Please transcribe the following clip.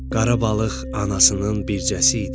Qara balıq anasının bircəsi idi.